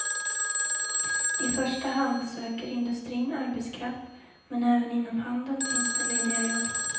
I första hand söker industrin arbetskraft men även inom handeln finns det lediga jobb.